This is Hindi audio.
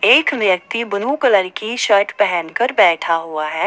एक व्यक्ति ब्लू कलर की शर्ट पहन कर बैठा हुआ है।